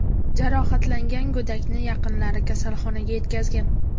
Jarohatlangan go‘dakni yaqinlari kasalxonaga yetkazgan.